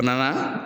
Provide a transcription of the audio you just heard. A nana